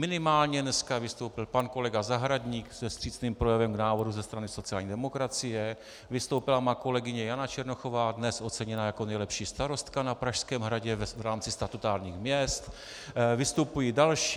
Minimálně dneska vystoupil pan kolega Zahradník se vstřícným projevem k návrhu ze strany sociální demokracie, vystoupila má kolegyně Jana Černochová, dnes oceněná jako nejlepší starostka na Pražském hradě v rámci statutárních měst, vystupují další.